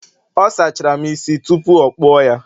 ọ sachara'm isi tupu o kpuo ya